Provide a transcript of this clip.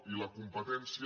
i la competència